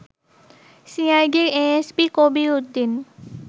সিআইডির এএসপি কবির উদ্দিন